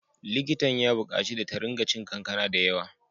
Likitan ya bukaci da ringa cin kankana da yawa.